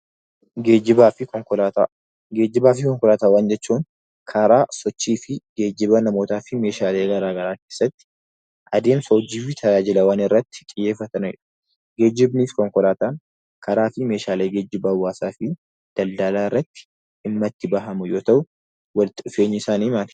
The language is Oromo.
Geejjibaa fi Konkolaataa. Geejjibaa fi konkolaataa jechuun karaa sochii fi geejjiba meeshaalee garaa garaa keessatti adeemsa hojii fi tajaajilawwan irratti xiyyeefatanii dha. Geejjibni fi konkolaataan karaalee meeshaalee hawwaasaa daldaala irratti dhimma itti ba'an yoo ta'u walitti dhufeenyi isaanii maal?